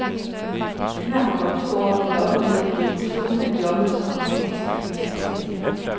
Han har på godt to år vendt og op ned på definitionen af jobbet som amerikansk vicepræsident.